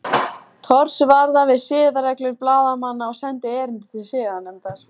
Thors varða við siðareglur blaðamanna og sendi erindi til siðanefndar